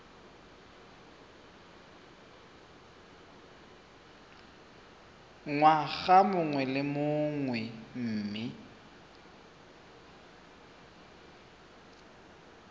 ngwaga mongwe le mongwe mme